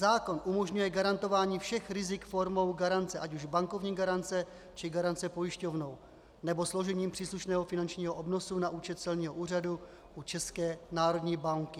Zákon umožňuje garantování všech rizik formou garance, ať už bankovní garance, či garance pojišťovnou, nebo složením příslušného finančního obnosu na účet celního úřadu u České národní banky.